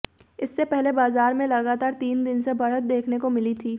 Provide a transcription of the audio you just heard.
इससे पहले बाजार में लगातार तीन दिन से बढ़त देखने को मिली थी